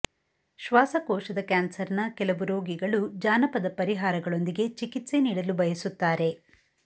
ಶ್ವಾಸಕೋಶದ ಕ್ಯಾನ್ಸರ್ನ ಕೆಲವು ರೋಗಿಗಳು ಜಾನಪದ ಪರಿಹಾರಗಳೊಂದಿಗೆ ಚಿಕಿತ್ಸೆ ನೀಡಲು ಬಯಸುತ್ತಾರೆ